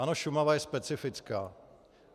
Ano, Šumava je specifická.